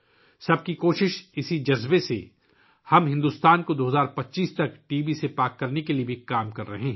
سب کا پریاس کے اس جذبے میں، ہم، بھارت کو 2025 ء تک ٹی بی سے پاک کرنے کے لئے بھی کام کر رہے ہیں